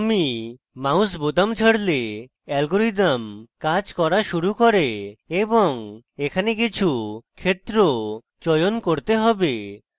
আমি mouse বোতাম ছাড়লে অ্যালগরিদম কাজ করা শুরু করে বং এখানে কিছু ক্ষেত্র চয়ন করতে have